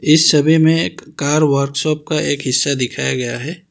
इस छवि में एक कार वर्कशॉप का एक हिस्सा दिखाया गया है।